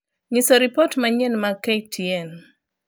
nyiso ripot ma manyien mag k. t. n.